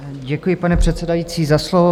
Děkuji, paní předsedající, za slovo.